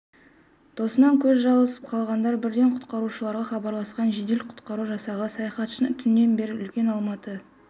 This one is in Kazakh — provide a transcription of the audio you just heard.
досынан көз жазып қалғандар бірден құтқарушыларға хабарласқан жедел-құтқару жасағы саяхатшыны түннен бері үлкен алматы